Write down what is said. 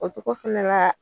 O cogo fana la